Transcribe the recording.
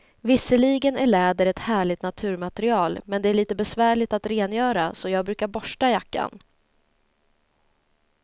Visserligen är läder ett härligt naturmaterial, men det är lite besvärligt att rengöra, så jag brukar borsta jackan.